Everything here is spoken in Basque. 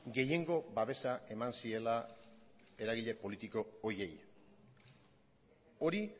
gehiengo babesa eman ziela eragile politiko horiei hori